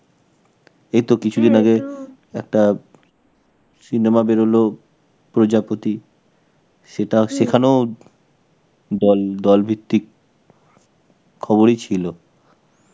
এই তো কিছুদিন আগে একটা cinema বেরোলো, প্রজাপতি. সেটাও শেখানো দল, দল ভিত্তিক খবরই ছিল.